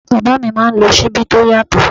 Bàbá mi máa ń lò Ṣíbí tó yàtọ̀.